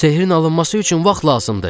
Sehrin alınması üçün vaxt lazımdır.